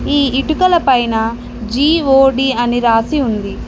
ఈ ఇటుకల పైనా జి_ఓ_డి అని రాసి ఉంది.